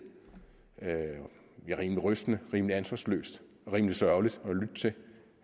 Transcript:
rimelig rystende rimelig ansvarsløst rimelig sørgeligt